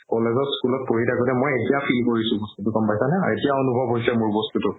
college ত school ত পঢ়ি থাকোতে মই এতিয়া feel কৰিছো বস্তুতো গ'ম পাইছা নে এতিয়া অনুভব হৈছে মোৰ বস্তুতো